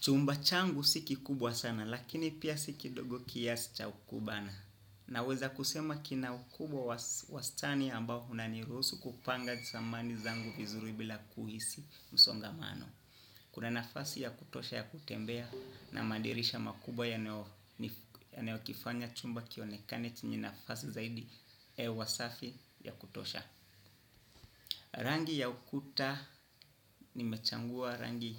Chumba changu si kikubwa sana lakini pia si kidogo kiasi cha kukubana. Naweza kusema kina ukubwa wastani ambao unanirusu kupanga samani zangu vizuri bila kuhisi msongamano. Kuna nafasi ya kutosha ya kutembea na madirisha makubwa yanayokifanya chumba kionekane chenye nafasi zaidi hewa safi ya kutosha. Rangi ya ukuta nimechagua rangi